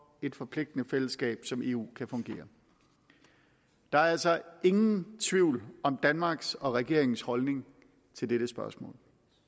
et forpligtende fællesskab som eu kan fungere der er altså ingen tvivl om danmarks og regeringens holdning til dette spørgsmål